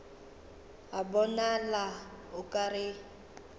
a bonala o ka re